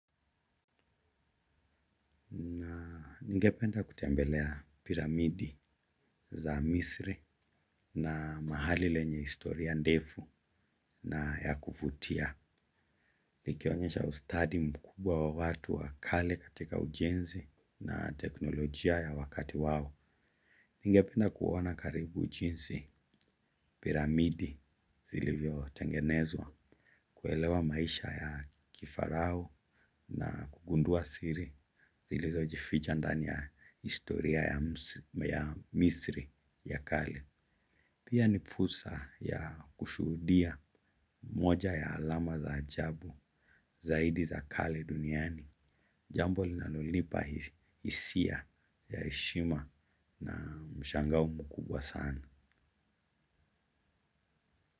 Na ningependa kutembelea piramidi za misri na mahali lenye historia ndefu na ya kuvutia. Nikionyesha ustadi mkubwa wa watu wa kale katika ujenzi na teknolojia ya wakati wao ningenda kuona karibu jinsi piramidi zilivyotengenezwa. Kuelewa maisha ya kifarao na kugundua siri, zilizojificha ndani ya historia ya misri ya kale. Pia ni fursa ya kushuhudia moja ya alama za ajabu zaidi za kale duniani. Jambo linalonia hisia ya heshima na mshangao mkubwa sana.